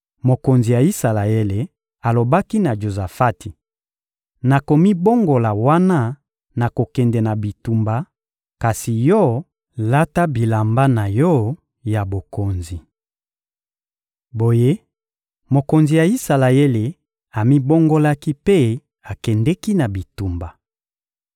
Mokonzi ya Isalaele alobaki na Jozafati: «Nakomibongola wana nakokende na bitumba; kasi yo, lata bilamba na yo ya bokonzi.» Boye mokonzi ya Isalaele amibongolaki mpe akendeki na bitumba.